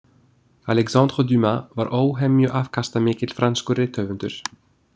Alexandre Dumas var óhemju afkastamikill franskur rithöfundur.